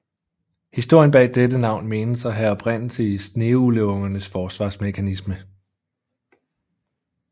Historien bag dette navn menes at have oprindelse i sneugleungernes forsvarsmekanisme